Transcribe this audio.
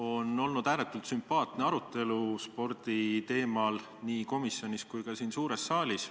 On olnud ääretult sümpaatne arutelu spordi teemal nii komisjonis kui ka siin suures saalis.